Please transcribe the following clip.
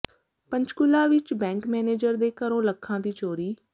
ਪੰਚਕੂਲਾ ਵਿਚ bank manager ਦੇ ਘਰੋਂ ਲੱਖਾਂ ਦੀ ਚੋਰੀ